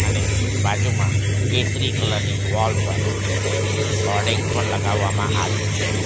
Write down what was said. ને બાજુમાં કેસરી કલર ની વોલ પર એક હોર્ડિંગ્સ પણ લગાવવામાં આવ્યો છે.